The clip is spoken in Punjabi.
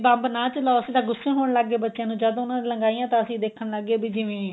ਬੰਬ ਨਾ ਚਲਾਓ ਅਸੀਂ ਤਾਂ ਗੁੱਸੇ ਹੋਣ ਲੱਗ ਗਏ ਬੱਚਿਆਂ ਨੂੰ ਜਦ ਉਹਨੇ ਲਗਾਈਆਂ ਤਾਂ ਅਸੀਂ ਦੇਖਣ ਲੱਗ ਗਏ ਵੀ ਜਿਵੇਂ